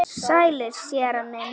Sælir, séra minn.